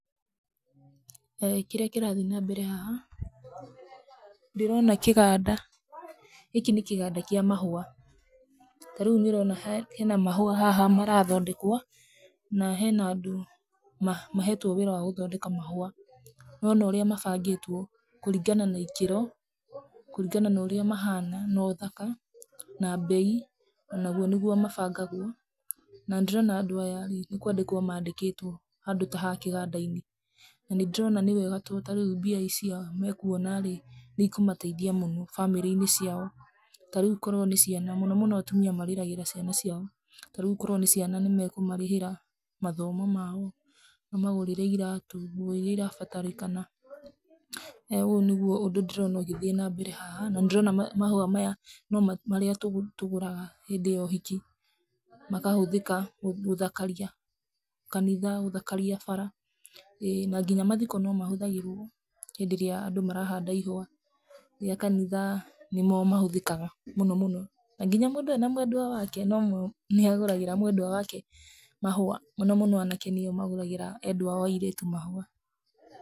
Kĩrĩa kĩrathiĩ na mbere haha, ndĩrona kĩganda. Gĩkĩ nĩ kĩganda kĩa mahua. Tarĩu nĩ ũrona hena mahũa haha marathondekwo na hena andũ mahetwo wĩra wa gũthondeka mahũa. Nĩ wona ũrĩa mabangĩtwo kũringana na ikĩro kũringana na ũrĩa mahana na ũthaka na mbei, naguo nĩguo mabangagwo. Na nĩ ndĩrona andũ aya nĩ kwandĩkwo mandĩkĩtwo handũ ta haha kĩganda-inĩ, na nĩ ndĩrona nĩ wega tondũ tarĩu mbia icio mekuona rĩ nĩ ikũmateithia muno bamĩrĩ-inĩ ciao. Tarĩu korwo ni ciana mũno mũno atumia marĩragĩra ciana ciao, tarĩu korwo nĩ ciana nĩ mekũma marĩhĩra mathomo mao mamagũrĩre iratũ nguo iria irabatarĩkana. Ũũ nĩguo undũ ũrĩa ndĩrona ũgĩthiĩ na mbere haha na nĩ ndĩrona mahũa maya nĩ marĩa tũguraga hĩndĩ ya ũhiki makahũthĩka gũthakaria kanitha gũthakaria bara. ĩĩ na nginya mathiko no mahũthagĩrwo hĩndĩ ĩrĩa andũ marahanda ihũa ria kanitha nĩmo mahũthĩkaga mũno. Na nginya mũndũ ena mwendwa wake no mo nĩagũragĩra mwendwa wake mahũa mũno mũno anake nĩo magũragĩra endwa ao a airĩtu mahũa.